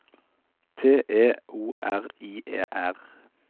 T E O R I E R